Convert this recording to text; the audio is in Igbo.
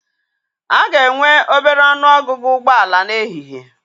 A ga-enwe obere ọnụ ọgụgụ ụgbọ ala n'ehihie.